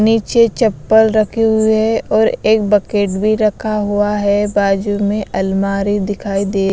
नीचे चप्पल रखे हुए और एक बकेट भी रखा हुआ है बाजू में अलमारी दिखाई देगी।